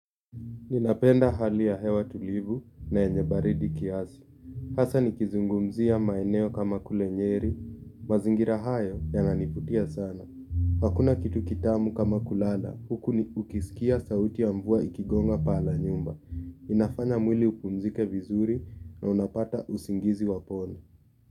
Ninapenda hali ya hewa tulivu na yenye baridi kiasi hasa nikizungumzia maeneo kama kule Nyeri, mazingira hayo yananivutia sana hakuna kitu kitamu kama kulala, huku ukisikia sauti ya mvua ikigonga paa la nyumba inafanya mwili upumzike vizuri na unapata usingizi wa pono.